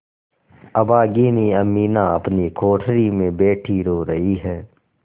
अभागिनी अमीना अपनी कोठरी में बैठी रो रही है